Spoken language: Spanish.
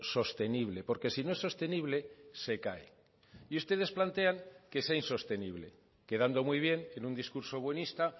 sostenible porque si no es sostenible se cae y ustedes plantean que sea insostenible quedando muy bien en un discurso buenista